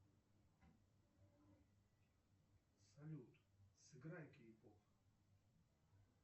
салют сыграй кей поп